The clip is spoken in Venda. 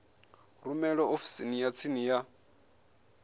rumele ofisini ya tsini ya